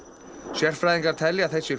sérfræðingar telja að þessi